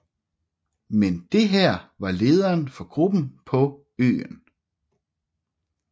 Men det her var lederen for gruppen på øen